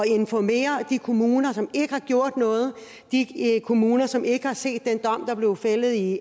informere de kommuner som ikke har gjort noget de kommuner som ikke har set den dom der blev fældet i